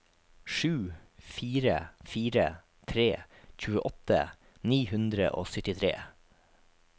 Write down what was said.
sju fire fire tre tjueåtte ni hundre og syttitre